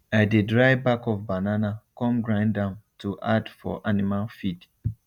i de dry back of banana come grind am to add for animal feed